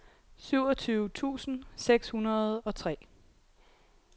syvogtyve tusind seks hundrede og tre